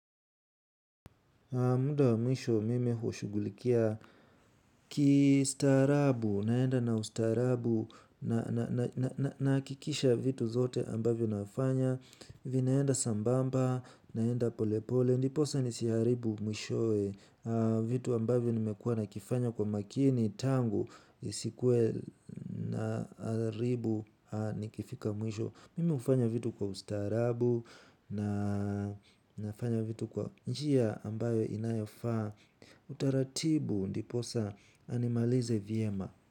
Muda wa mwisho mimi hushughulikia kistaarabu, naenda na ustaarabu nahakikisha vitu zote ambavyo nafanya vinaenda sambamba, naenda polepole, ndiposa nisiharibu mwishowe vitu ambavyo nimekuwa nakifanya kwa umakini tangu nisikuwe naharibu nikifika mwisho. Mimi hufanya vitu kwa ustaarabu. Na nafanya vitu kwa njia ambayo inayofaa. Utaratibu ndiposa nimalize vyema.